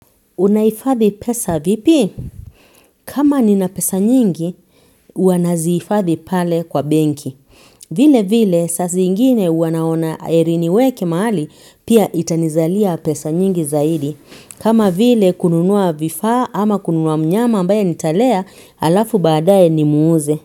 Unahifadhi pesa vipi? Kama nina pesa nyingi, huwa nazihifadhi pale kwa benki. Vile vile, saa zingine huwa naona heri niweke mahali, pia itanizalia pesa nyingi zaidi. Kama vile, kununua vifaa ama kununua mnyama ambaye nitalea, halafu baadae nimuuze.